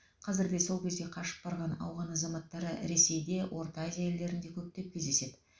қазір де сол кезде қашып барған ауған азаматтары ресейде орта азия елдерінде көптеп кездеседі